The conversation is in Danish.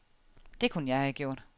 Det kunne jeg have gjort.